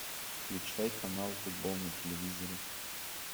включай канал футбол на телевизоре